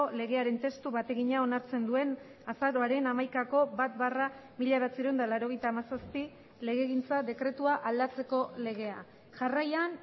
legearen testu bategina onartzen duen azaroaren hamaikako bat barra mila bederatziehun eta laurogeita hamazazpi legegintza dekretua aldatzeko legea jarraian